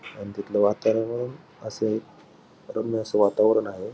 आणि तिथल वातावरण असे रम्य असे वातावरण आहे.